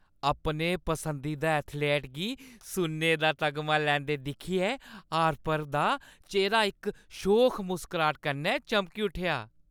अपने पसंदीदा एथलीट गी सुन्ने दा तगमा लैंदे दिक्खियै हार्पर दा चेह्‌रा इक शोख मुसकराह्ट कन्नै चमकी उट्ठेआ।